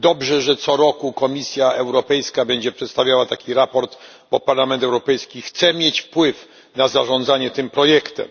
Dobrze, że co roku Komisja Europejska będzie przedstawiała takie sprawozdanie, bo Parlament Europejski chce mieć wpływ na zarządzanie tym projektem.